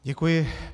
Děkuji.